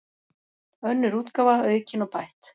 Önnur útgáfa, aukin og bætt.